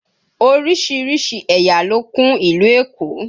Oríṣiríṣi ẹ̀yà ló kún ìlú Èkó